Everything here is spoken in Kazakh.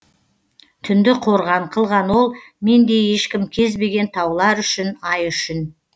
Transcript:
түнді қорған қылған ол мендей ешкім кезбеген таулар ішін ай үшін